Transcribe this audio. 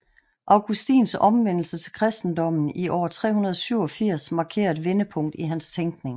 Augustins omvendelse til kristendommen i år 387 markerer et vendepunkt i hans tænkning